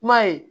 Kuma ye